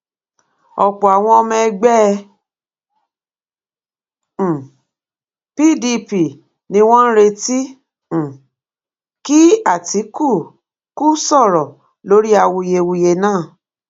ọpọ àwọn ọmọ ẹgbẹ um pdp ni wọn ń retí um kí àtikukù sọrọ lórí awuyewuye náà